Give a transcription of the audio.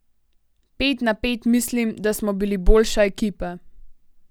Pet na pet mislim, da smo bili boljša ekipa.